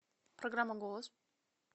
программа голос